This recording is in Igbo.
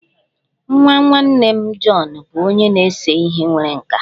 Nwa nwanne m, John bụ onye na-ese ihe nwere nkà